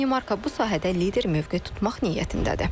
Danimarka bu sahədə lider mövqe tutmaq niyyətindədir.